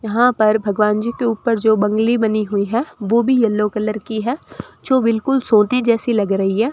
यहां पर भगवान जी के ऊपर जो बंगली बनी हुई है वो भी येलो कलर की है जो बिल्कुल सोती जैसी लग रही है।